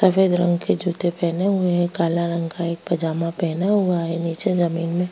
सफेद रंग के जूते पहने हुए हैं काले रंग का एक पजामा पहना हुआ है नीचे जमीन में --